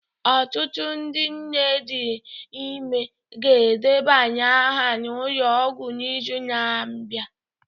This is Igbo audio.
Ọtụtụ ndị nne dị ime ga-edebanye aha na ụlọ ọgwụ n'izu na-abịa